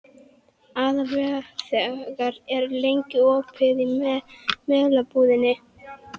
Aðalveig, hvað er lengi opið í Melabúðinni?